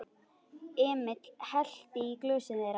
Emil hellti í glösin þeirra.